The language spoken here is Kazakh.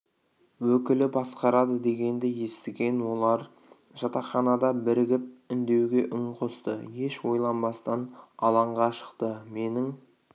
өкілі басқарады дегенді естіген олар жатақханада бірігіп үндеуге үн қосты еш ойланбастан алаңға шықты менің